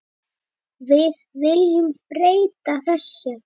Við viljum breyta þessu.